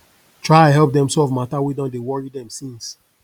try help dem solve mata wey don dey wori dem since